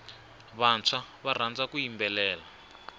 vantshwa va rhandza ku yimbelela